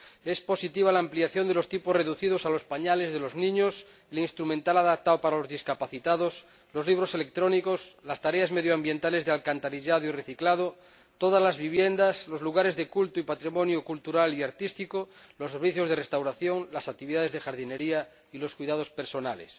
Es positiva la ampliación de los tipos reducidos a los pañales de los niños y al instrumental adaptado para los discapacitados, a los libros electrónicos, las tareas medioambientales de alcantarillado y reciclado, a todas las viviendas, a los lugares de culto y patrimonio cultural y artístico, los servicios de restauración, las actividades de jardinería y los cuidados personales.